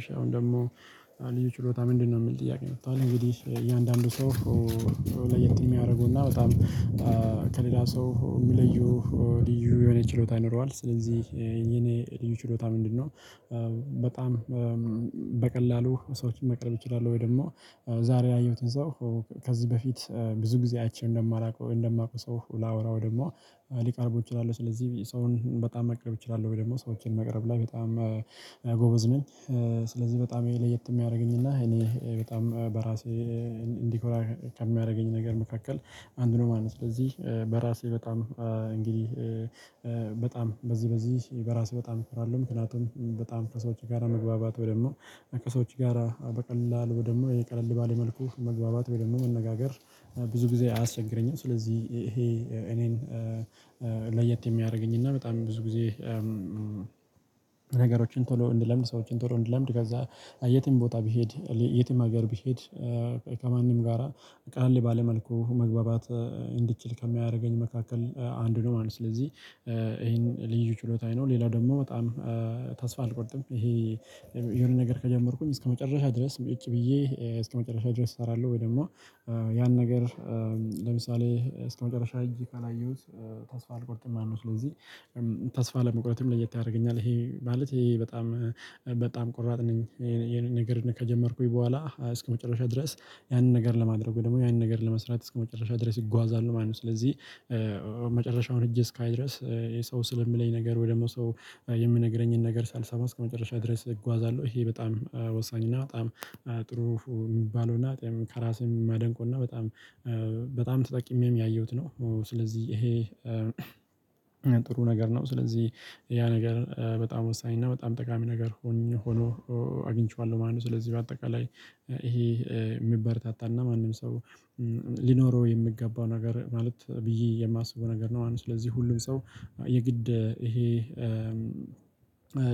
እሺ አሁን ደግሞ ልዩ ችሎታ ምንድነው? የምል ጥያቄ መጧል እንግዲህ እያንዳንዱ ሰው። ለየት የሚያረገውና በጣም ከሌላ ሰው የሚለዩ። ልዩ የሆነ ችሎታ ይኖረዋል። ስለዚህ የኔ ልዩ ችሎታ ምንድነው? በጣም በቀላሉ ሰዎችን መቅረብ እችላለሁ። ወይ ደግሞ ዛሬ ያየሁትን ሰው ከዚህ በፊት ብዙ ጊዜ አይቼ እንደማላውቀው እንደማውቀው ሰው ላወራው ደግሞ ሊቀርብ ይችላል። ስለዚህ ብዬ ሰውን በጣም መቅረብ እችላለሁ ወይ ደግሞ ሰዎችን መቅረብ ላይ በጣም ጎበዝ ነኝ። ስለዚህ በጣም የለየት የሚያደርገኝና እኔ በጣም በራሴ እንዲኮራ ከሚያደርገኝ ነገር መካከል አንድ ነው ማለት ነው። ስለዚህ በራሴ በጣም እንግዲህ በጣም በዚህ በዚህ በራስህ በጣም እኮራለሁ። ምክንያቱም በጣም ከሰዎች ጋራ መግባባት ወይ ደግሞ ከሰዎች ጋራ በቀላል ወይ ደግሞ የቀለል ባለ መልኩ መግባባት ወይ ደግሞ መነጋገር ብዙ ጊዜ አያስቸግረኝም። ስለዚህ ይሄ እኔን ለየት የሚያደርገኝና በጣም ብዙ ጊዜ ነገሮችን ቶሎ እንድለምድ ሰዎችን ቶሎ እንድለምድ ከዛ የትም ቦታ ቢሄድ የትም ሀገር ቢሄድ ከማንም ጋራ ቃለል ባለ መልኩ መግባባት እንድትችል ከሚያደርገኝ መካከል አንዱ ነው ማለት ነው። ስለዚህ ይሄን ልዩ ችሎታዬ ነው። ሌላው ደግሞ በጣም ተስፋ አልቆርጥም ይሄ የሆነ ነገር ከጀመርኩኝ እስከመጨረሻ ድረስ ሙጭጭ ብዬ እስከመጨረሻ ድረስ እሰራለሁ። ወይ ደግሞ ያን ነገር ለምሳሌ እስከመጨረሻ እጅ ካላየሁት ተስፋ አልቆርጥም አልነው ስለዚህ ተስፋ ለመቁረጥም ለየት ያደርገኛል። ይሄ ማለት ይሄ በጣም በጣም ቆራጥ ነኝ የሆነ ነገር ከጀመርኩኝ በኋላ እስከመጨረሻ ድረስ ያንን ነገር ለማድረግ ወይም ደግሞ ያንን ነገር ለመስራት እስከመጨረሻ ድረስ ይጓዛሉ ማለት ነው። ስለዚህ መጨረሻውን ሂጄ እስካይ ድረስ የሰው ስለሚለኝ ነገር ወይ ደግሞ ሰው የምነግረኝን ነገር ሳልሰማ እስከመጨረሻ ድረስ እጓዛለሁ። ይሄ በጣም ወሳኝ እና በጣም ጥሩ የሚባለውና እኔም ከራሴ ማደንቀውና በጣም በጣም ተጠቂሜም ያየሁት ነው። ስለዚህ ይሄ ጥሩ ነገር ነው። ስለዚህ ያ ነገር በጣም ወሳኝ እና በጣም ጠቃሚ ነገር ሆኜ ሆኖ አግኝቼዋለሁ ማለት ነው። ስለዚህ በአጠቃላይ ይሄ የሚበረታታና ማንም ሰው ሊኖረው የሚገባው ነገር ማለት ብዬ የማስበው ነገር ነው። አሁንም ስለዚህ ሁሉም ሰው የግድ ይሄ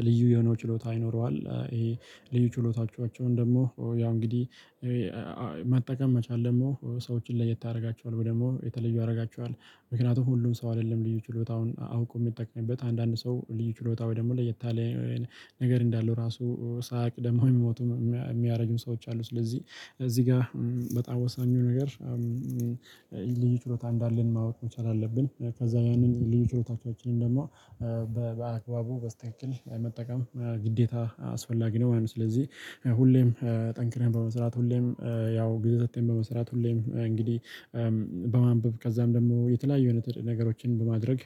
ልዩ የሆነው ችሎታ ይኖረዋል። ይሄ ልዩ ችሎታዎቻቸውን ደግሞ ያው እንግዲህ መጠቀም መቻል ደግሞ ሰዎችን ለየት ያደርጋቸዋል ወይ ደግሞ የተለዩ ያረጋቸዋል። ምክንያቱም ሁሉም ሰው አይደለም ልዩ ችሎታውን አውቆ የሚጠቅመበት አንዳንድ ሰው ልዩ ችሎታ ወይ ደግሞ ላይ ያለ ነገር እንዳለው ራሱ ሳያቅ ደግሞ የሚሞቱ የሚያረጁም ሰዎች አሉ። ስለዚህ እዚህ ጋር በጣም ወሳኙ ነገር ልዩ ችሎታ እንዳለን ማወቅ መቻል አለብን። ከዛ ያንን ልዩ ችሎታዎቻችንን ደግሞ በአግባቡ በስትክከል መጠቀም ግዴታ አስፈላጊ ነው ማለት ነው። ስለዚህ ሁሌም ጠንክረን በመስራት ሁሌም ያው ግዛቴን በመስራት ሁሌም እንግዲህ በማንበብ ከዛም ደግሞ የተለያዩ አይነት ነገሮችን በማድረግ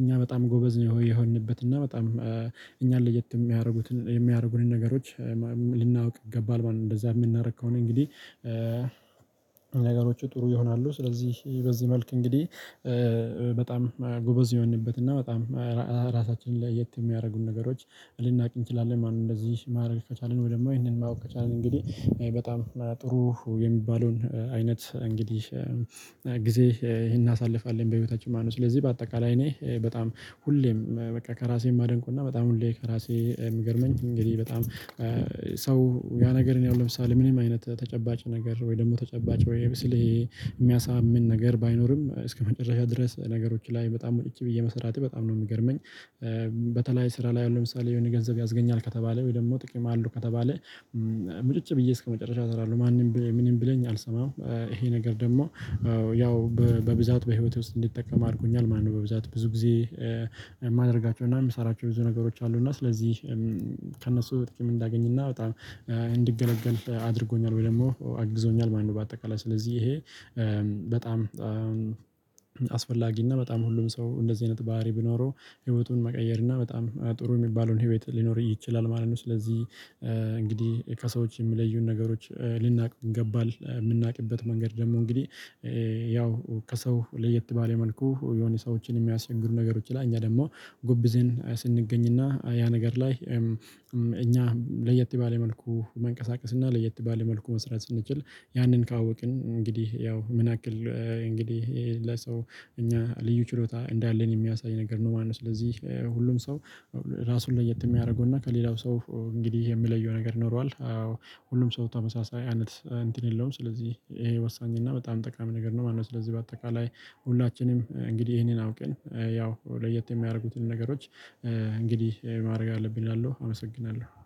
እኛ በጣም ጎበዝ ነው የሆንበት እና በጣም እኛን ለየት የሚያረጉትን የሚያደርጉንን ነገሮች ልናውቅ ይገባል ማለት ነው። እንደዛ የምናደርግ ከሆነ እንግዲህ ነገሮቹ ጥሩ ይሆናሉ። ስለዚህ በዚህ መልክ እንግዲህ በጣም ጎበዝ የሆንበት እና በጣም ራሳችንን ለየት የሚያደርጉን ነገሮች ልናውቅ እንችላለን ማለ ነው። እንደዚህ ማድረግ ከቻልን ወይ ደግሞ ይሄንን ማወቅ ከቻልን እንግዲህ በጣም ጥሩ የሚባለውን አይነት እንግዲህ ጊዜ ይሄን እናሳልፋለን በህይወታችን ማለነው። ስለዚህ በአጠቃላይ እኔ በጣም ሁሌም በቃ ከራሴ ማደንቀውና በጣም ሁሌ ከራሴ የምገርመኝ እንግዲህ በጣም ሰው ያ ነገርን ያው ለምሳሌ ምንም አይነት ተጨባጭ ነገር ወይ ደግሞ ተጨባጭ ወይ ስለ የሚያሳምን ነገር ባይኖርም እስከመጨረሻ ድረስ ነገሮች ላይ በጣም ቁጭ ብዬ መሰራቴ በጣም ነው የምገርመኝ። በተለይ ስራ ላይ ያሉ ለምሳሌ የሆነ ገንዘብ ያስገኛል ከተባለ ወይ ደግሞ ጥቅም አለው ከተባለ ሙጭጭ ብዬ እስከመጨረሻ እሰራለሁ። ማንም ምንም ቢለኝ አልሰማም ይሄ ነገር ደግሞ ያው በብዛት በህይወቴ ውስጥ እንዲጠቀም አድርጎኛል ማለነው። በብዛት ብዙ ጊዜ የማደርጋቸውና የምሰራቸው ብዙ ነገሮች አሉና ስለዚህ ከእነሱ ጥቂም እንዳገኝና በጣም እንድገለገል አድርጎኛል። ወይ ደግሞ አግዞኛል ማለነው በአጠቃላይ ስለዚህ ይሄ በጣም አስፈላጊ እና በጣም ሁሉም ሰው እንደዚህ አይነት ባህሪ ቢኖረው ህይወቱን መቀየር እና በጣም ጥሩ የሚባለውን ህይወት ሊኖር ይችላል ማለት ነው። ስለዚህ እንግዲህ ከሰዎች የሚለዩን ነገሮች ልናውቅ ይገባል። የምናውቅበት መንገድ ደግሞ እንግዲህ ያው ከሰው ለየት ባለ መልኩ የሆነ ሰዎችን የሚያስቸግሩ ነገሮች ላይ እኛ ደግሞ ጎብዘን ስንገኝና ያ ነገር ላይ እኛ ለየት ባለ መልኩ መንቀሳቀስ እና ለየት ባለ መልኩ መስራት ስንችል ያንን ካወቅን እንግዲህ ያው ምን አክል እንግዲህ ለሰው እኛ ልዩ ችሎታ እንዳለን የሚያሳይ ነገር ነው ማለት ነው። ስለዚህ ሁሉም ሰው ራሱን ለየት የሚያደርገው እና ከሌላው ሰው እንግዲህ የሚለየው ነገር ኖሯል። ሁሉም ሰው ተመሳሳይ አይነት እንትን የለውም። ስለዚህ ይሄ ወሳኝ እና በጣም ጠቃሚ ነገር ነው ማለነው። ስለዚህ በአጠቃላይ ሁላችንም እንግዲህ ይሄንን አውቀን ያው ለየት የሚያደርጉትን ነገሮች እንግዲህ ማድረግ አለብን እላለሁ አመሰግናለሁ